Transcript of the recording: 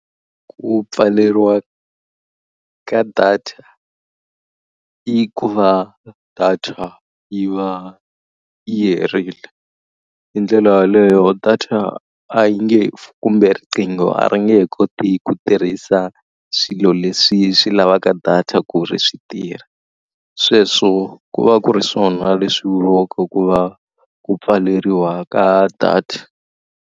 Ku pfaleriwa ka data i ku va data yi va yi herile, hi ndlela yaleyo data a yi nge kumbe riqingho a ri nge he koti ku tirhisa swilo leswi swi lavaka data ku ri swi tirha. Sweswo ku va ku ri swona leswi vuriwaka ku va ku pfaleriwa ka data.